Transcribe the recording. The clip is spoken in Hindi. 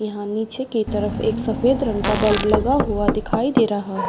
यहाँ निचे के तरफ एक सफ़ेद रंग का बल्ब लगा हुआ दिखाई दे रहा।